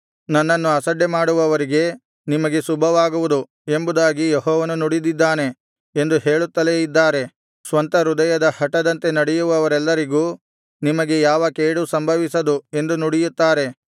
ನನ್ನನ್ನು ಅಸಡ್ಡೆಮಾಡುವವರಿಗೆ ನಿಮಗೆ ಶುಭವಾಗುವುದು ಎಂಬುದಾಗಿ ಯೆಹೋವನು ನುಡಿದಿದ್ದಾನೆ ಎಂದು ಹೇಳುತ್ತಲೇ ಇದ್ದಾರೆ ಸ್ವಂತ ಹೃದಯದ ಹಟದಂತೆ ನಡೆಯುವವರೆಲ್ಲರಿಗೂ ನಿಮಗೆ ಯಾವ ಕೇಡೂ ಸಂಭವಿಸದು ಎಂದು ನುಡಿಯುತ್ತಾರೆ